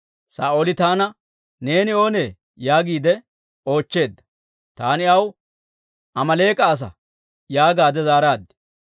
Saa'ooli taana, ‹Neeni oonee?› yaagiide oochcheedda; Taani aw, ‹Amaaleek'a asa› yaagaade zaaraad.